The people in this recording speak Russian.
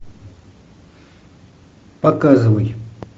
показывай